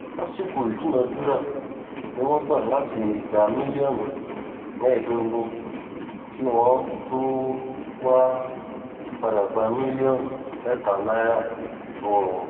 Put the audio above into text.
lásìkò ìdúnàádúrà ni wọ́n gbà láti gba mílíọ̀nù mẹ́ẹ̀ẹ́dógún kí wọ́n tóó wáá padà gba mílíọ̀nù mẹ́ta náírà lọ́wọ́ wọn